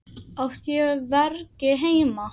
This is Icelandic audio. Átti ég hvergi heima?